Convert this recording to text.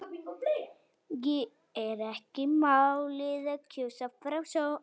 Er ekki málið að kjósa?